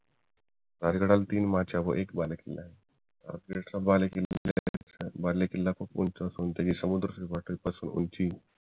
राजगडला तीन व एक बालेकिल्ला आहे राजगडचा चा बालेकिल्ला पासून ते समुद्र सपाटीपासून उंची